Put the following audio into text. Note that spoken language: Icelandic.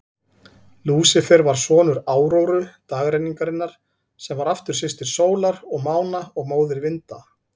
Lúsífer var sonur Áróru, dagrenningarinnar, sem var aftur systir sólar og mána og móðir vinda.